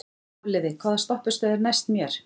Hafliði, hvaða stoppistöð er næst mér?